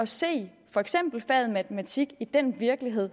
se for eksempel faget matematik i den virkelighed